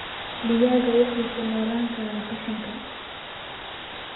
Digaagga waxay ku noolaan karaan qashinka.